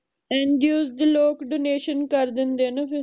NGO ਦੇ ਲੋਕ donation ਕਰ ਦਿੰਦੇ ਆ ਨਾ ਫਿਰ